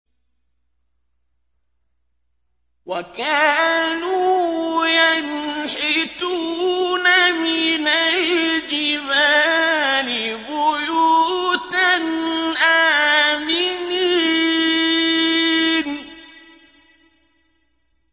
وَكَانُوا يَنْحِتُونَ مِنَ الْجِبَالِ بُيُوتًا آمِنِينَ